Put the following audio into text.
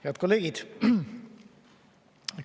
Head kolleegid!